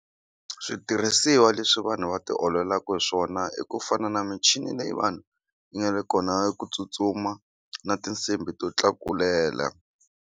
Switirhisiwa leswi vanhu va ti ololaka hi swona i ku fana na michini leyi vanhu yi nga le kona ya ku tsutsuma na tinsimbi to tlakulela.